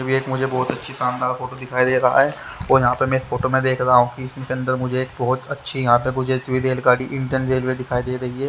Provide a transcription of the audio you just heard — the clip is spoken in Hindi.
एक मुझे बहुत अच्छी शानदार फोटो दिखाई दे रहा है और यहां पे मैं इस फोटो में देख रहा हूं इसके अंदर मुझे एक बहुत अच्छी यहां पे रेलगाड़ी इंडियन रेलवे दिखाई दे रही है।